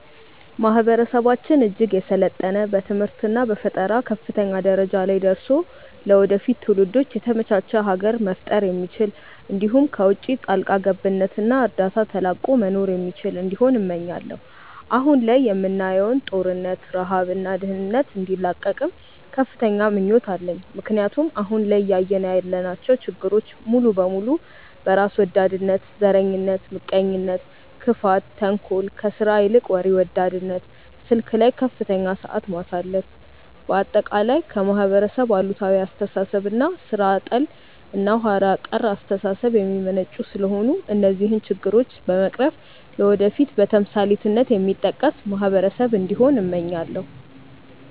ማህበረሰባችን እጅግ የሰለጠነ በትምህርት እና በፈጠራ ከፍተኛ ደረጃ ላይ ደርሶ ለወደፊት ትውልዶች የተመቻች ሀገር መፍጠር የሚችል እንዲሁም ከውቺ ጣልቃ ገብነት እና እርዳታ ተላቆ መኖር የሚችል እንዲሆን እመኛለው። አሁን ላይ የምናየውን ጦርነት፣ ረሃብ እና ድህነት እንዲላቀቅም ከፍተኛ ምኞት አለኝ ምክንያቱም አሁን ላይ እያየን ያለናቸው ችግሮች ሙሉ በሙሉ በራስ ወዳድነት፣ ዘረኝነት፣ ምቀኝነት፣ ክፋት፣ ተንኮል፣ ከስራ ይልቅ ወሬ ወዳድነት፣ ስልክ ላይ ከፍተኛ ሰዓት ማሳለፍ፣ በአጠቃላይ ከማህበረሰብ አሉታዊ አስተሳሰብ እና ሥራ ጠል እና ኋላ ቀር አስተሳሰብ የሚመነጩ ስለሆነ እነዚህን ችግሮች በመቅረፍ ለወደፊት በተምሳሌትነት የሚጠቀስ ማህበረሰብ እንዲሆን እመኛለው።